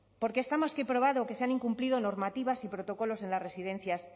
porque está más que probado que se han incumplido normativas y protocolos en las residencias